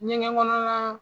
Ɲɛgɛnkɔnɔna